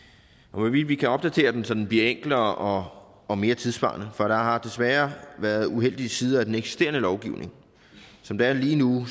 og hvorvidt vi kan opdatere den så den bliver enklere og mere tidssvarende for der har desværre været uheldige sider af den eksisterende lovgivning som det er lige nu